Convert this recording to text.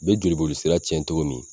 Be jolibolisira cɛn cogo min